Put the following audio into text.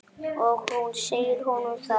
Og hún segir honum það.